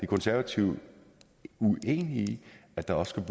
konservative uenige i at der også